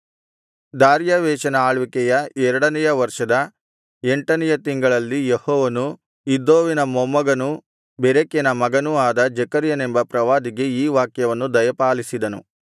ದಾರ್ಯಾವೆಷನ ಆಳ್ವಿಕೆಯ ಎರಡನೆಯ ವರ್ಷದ ಎಂಟನೆಯ ತಿಂಗಳಲ್ಲಿ ಯೆಹೋವನು ಇದ್ದೋವಿನ ಮೊಮ್ಮಗನೂ ಬೆರೆಕ್ಯನ ಮಗನೂ ಅದ ಜೆಕರ್ಯನೆಂಬ ಪ್ರವಾದಿಗೆ ಈ ವಾಕ್ಯವನ್ನು ದಯಪಾಲಿಸಿದನು